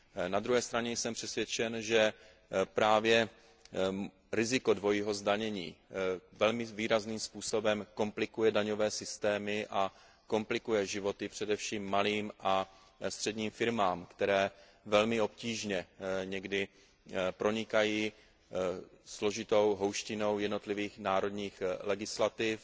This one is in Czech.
Na druhé straně jsem přesvědčen, že právě riziko dvojího zdanění velmi výrazným způsobem komplikuje daňové systémy a komplikuje životy především malým a středním firmám, které někdy velmi obtížně pronikají složitou houštinou jednotlivých národních legislativ.